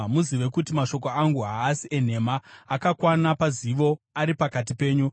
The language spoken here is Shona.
Muzive kuti mashoko angu haasi enhema; akakwana pazivo ari pakati penyu.